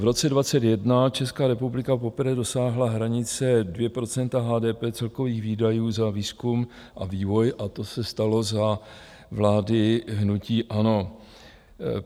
V roce 2021 Česká republika poprvé dosáhla hranice 2 % HDP celkových výdajů za výzkum a vývoj a to se stalo za vlády hnutí ANO.